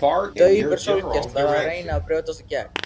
Daufir sólgeislar að reyna að brjótast í gegn.